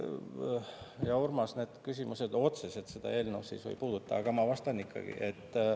Hea Urmas, need küsimused otseselt selle eelnõu sisu ei puuduta, aga ma vastan ikkagi.